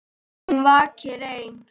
Hún vakir ein.